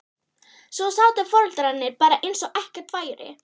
Svo sátu foreldrarnir bara eins og ekkert væri.